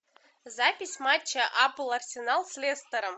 запись матча апл арсенал с лестером